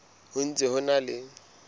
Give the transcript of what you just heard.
ho ntse ho na le